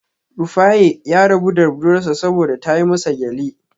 Rufaye ya rabu da budurwar sa saboda ta yi masa gyale